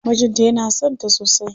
Mijin ta yana son ta sosai.